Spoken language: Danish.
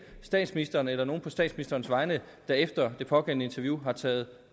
statsministeren eller nogen på statsministerens vegne der efter det pågældende interview har taget